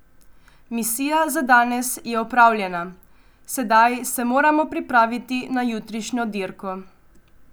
Misija za danes je opravljena, sedaj se moramo pripraviti na jutrišnjo dirko.